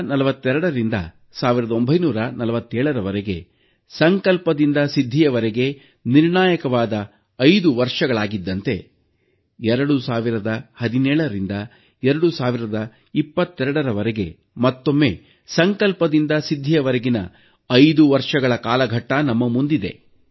1942ರಿಂದ 1947ರ ವರೆಗೆ ಸಂಕಲ್ಪದಿಂದ ಸಿದ್ಧಿವರೆಗೆ ನಿರ್ಣಾಯಕವಾದ 5 ವರ್ಷಗಳಾಗಿದ್ದಂತೆ 2017ರಿಂದ 2022ರ ವರೆಗೆ ಮತ್ತೊಮ್ಮೆ ಸಂಕಲ್ಪದಿಂದ ಸಿದ್ಧಿವರೆಗಿನ 5 ವರ್ಷಗಳ ಕಾಲಘಟ್ಟ ನಮ್ಮ ಮುಂದಿದೆ